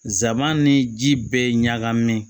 Zan ni ji bɛɛ ye ɲagamin